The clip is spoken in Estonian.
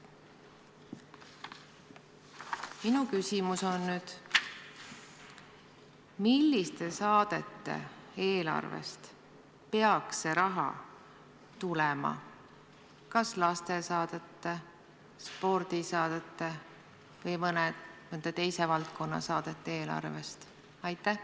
Minu küsimus on: milliste saadete eelarvest peaks see raha tulema, kas lastesaadete, spordisaadete või mõne teise valdkonna saadete eelarvest?